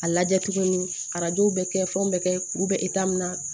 A lajɛ tuguni arajow bɛ kɛ fɛnw bɛ kɛ kuru bɛ min na